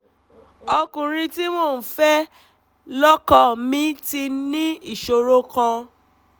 ọkùnrin tí mò ń fẹ́ lọ́kọ mi ti ní ìṣòro kan